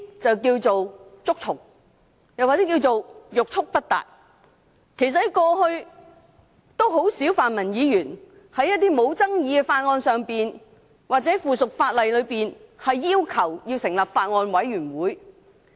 這可稱為"捉蟲"或欲速不達。過去很少泛民議員就無爭議的法案或附屬法例的修訂，要求成立法案委員會或小組委員會。